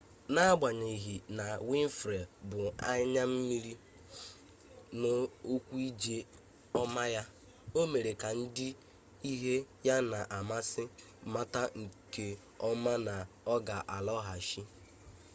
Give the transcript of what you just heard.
n'agbanyeghi na winfrey bu anya mmiri n'okwu ije ọma ya o mere ka ndị ihe ya na-amasị mata nke ọma na ọ ga-alọghachi